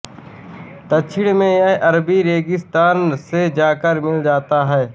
दक्षिण में यह अरबी रेगिस्तान से जाकर मिल जाता है